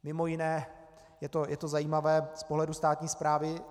Mimo jiné je to zajímavé z pohledu státní správy.